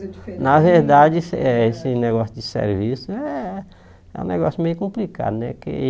Na verdade, esse eh esse negócio de serviço é é um negócio meio complicado, né? Que